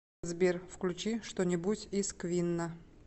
сбер включи что нибудь из квинна